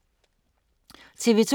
TV 2